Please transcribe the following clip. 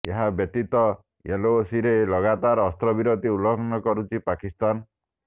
ଏହା ବ୍ୟତୀତ ଏଲଓସିରେ ଲଗାତାର ଅସ୍ତ୍ରବିରତି ଉଲ୍ଲଂଘନ କରୁଛି ପାକିସ୍ତାନ